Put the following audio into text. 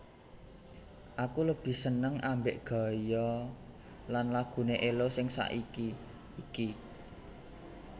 Aku lebih seneng ambek gaya lan lagune Ello sing saiki iki